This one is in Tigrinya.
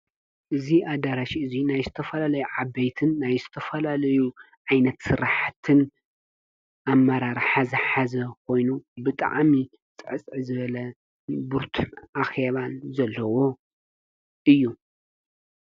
እዙ ኣዳራሽ እዙይ ናይ ዝተፈላለዩ ዓበይትን ናይ ዝተፈላለዩ ዓይነት ሠራሐትን ኣመራርሓ ዝሓዘ ኾይኑ ብጣዕሚ ጽዕጽዕ ዝበለ ቡርቱዕ ኣኸባን ዘለዎ እዩ።